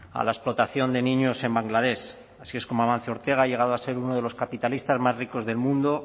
a la explotación de niños en bangladesh así es como amancio ortega ha llegado a ser uno de los capitalistas más ricos del mundo